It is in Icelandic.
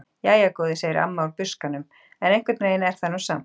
Jæja góði, segir amma úr buskanum: En einhvern veginn er hún nú samt.